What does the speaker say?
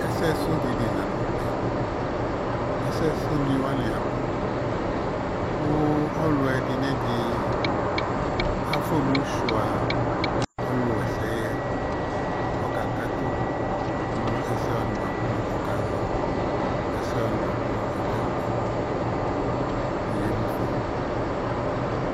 Ɛsɛsʋ dini la nʋ tɛ Ɛsɛsʋnɩ wanɩ abʋ kʋ ɔlʋ ɛdɩ nʋ ɛdɩ afʋa emu sʋɩa ɔlʋwa ɛsɛ yɛ kʋ ɔkakatʋ nʋ ɛsɛ wanɩ bʋa kʋ ɔkazɔ, ɛsɛ wanɩ bʋa kʋ ɔkewle Kɔyǝ emu fa oo